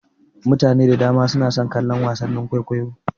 Mutane da dama suna son kallon wasannin kwaikwayo.